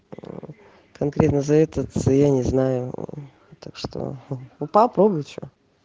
конкретно за этот я не знаю так что ну попробуй что